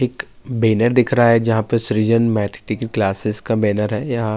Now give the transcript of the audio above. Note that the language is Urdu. ایک بینر دیکھ رہا ہے۔ جہاں پر سرجن متحیمٹک کلاسز کا بینر _ ہے یہاں--